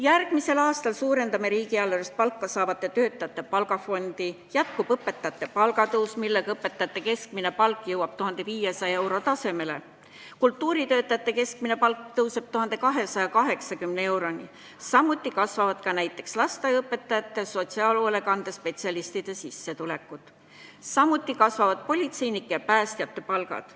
Järgmisel aastal suurendame riigieelarvest palka saavate töötajate palgafondi, jätkub õpetajate palga tõus, millega õpetajate keskmine palk jõuab 1500 euro tasemele, kultuuritöötajate keskmine palk tõuseb 1280 euroni, samuti kasvavad lasteaiaõpetajate ja sotsiaalhoolekande spetsialistide sissetulekud ning politseinike ja päästjate palgad.